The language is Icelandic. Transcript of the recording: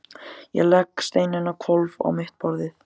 Ég legg steininn á hvolf á mitt borðið.